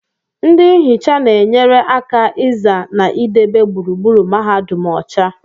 Ndị nhịcha na-enyere aka ịza na idebe gburugburu Mahadum ọcha